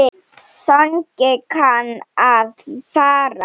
Þannig kann að fara.